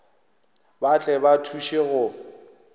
ba tle ba thuše go